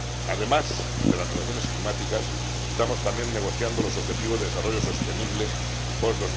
Además de las negociaciones climáticas estamos también negociando los objetivos de desarrollo sostenible post